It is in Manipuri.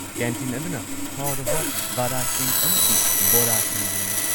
ꯀꯦꯟꯇꯤꯟ ꯑꯗꯨꯅ ꯍꯥꯎꯔꯕ ꯋꯥꯔꯥꯁꯤꯡ ꯑꯃꯁꯨꯡ ꯕꯣꯔꯥꯁꯤꯡ ꯌꯣꯜꯂꯤ꯫